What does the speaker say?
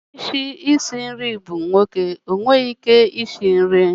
Onye isi nri nwoke enweghị ike isi nri?